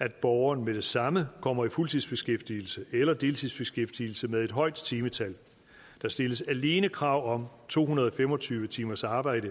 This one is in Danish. at borgeren med det samme kommer i fuldtidsbeskæftigelse eller deltidsbeskæftigelse med et højt timetal der stilles alene krav om to hundrede og fem og tyve timers arbejde